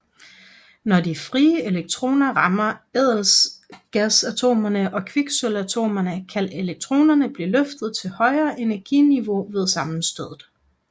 Når de frie elektroner rammer ædelgasatomerne og kviksølvatomerne kan elektroner blive løftet til højere energiniveauer ved sammenstødet